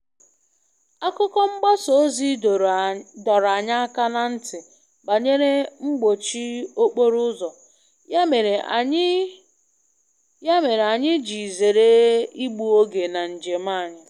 Akụkọ mgbasa ozi dọrọ anyị aka ná ntị banyere mgbochi okporo ụzọ, ya mere anyị ya mere anyị ji zere igbu oge na njem anyị.